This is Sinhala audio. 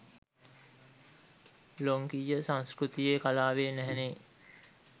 ලොංකීය සංස්කෘතියෙ කලාවේ නැහැනේ.